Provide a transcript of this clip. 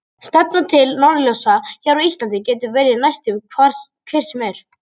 Stefnan til norðurljósa hér á Íslandi getur verið næstum hver sem er.